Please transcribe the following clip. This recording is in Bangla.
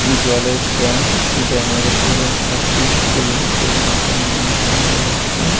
জলের ড্যাম ড্যামের উপরে একটা পুল পুলের উপরে একজন মানুষ দাঁড়িয়ে আছেন ।